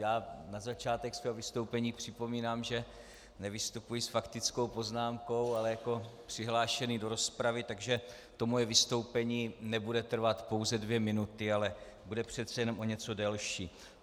Já na začátek svého vystoupení připomínám, že nevystupuji s faktickou poznámkou, ale jako přihlášený do rozpravy, takže to moje vystoupení nebude trvat pouze dvě minuty, ale bude přece jenom o něco delší.